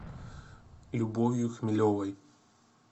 любовью хмелевой